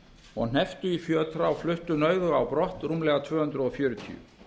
og hnepptu í fjötra og fluttu nauðuga á brott rúmlega tvö hundruð fjörutíu